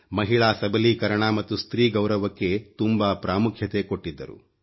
ಮಹಿಳಾ ಸಬಲೀಕರಣ ಮತ್ತು ಸ್ತ್ರೀ ಗೌರವಕ್ಕೆ ತುಂಬಾ ಪ್ರಾಮುಖ್ಯತೆ ಕೊಟ್ಟಿದ್ದರು